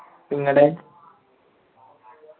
ങ്ങടെയ്